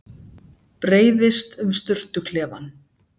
Breiðist um sturtuklefann.